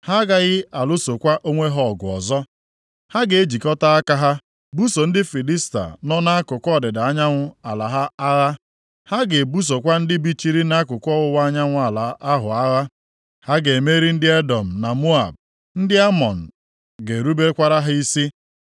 Ha ga-ejikọta aka ha buso ndị Filistia nọ nʼakụkụ ọdịda anyanwụ ala ha agha; ha ga-ebusokwa ndị bichiri nʼakụkụ ọwụwa anyanwụ ala ahụ agha. Ha ga-emeri ndị Edọm na Moab. Ndị Amọn ga-erubekwara ha isi.